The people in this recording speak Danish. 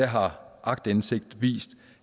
har aktindsigt vist